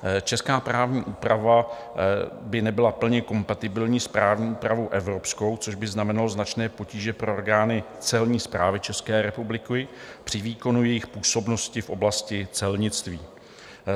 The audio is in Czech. Česká právní úprava by nebyla plně kompatibilní s právní úpravou evropskou, což by znamenalo značné potíže pro orgány Celní správy České republiky při výkonu jejich působnosti v oblasti celnictví.